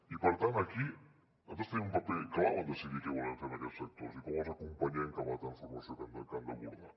i per tant aquí nosaltres tenim un paper clau en decidir què volem fer amb aquests sectors i com els acompanyem cap a la transformació que han d’abordar